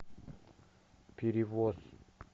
перевоз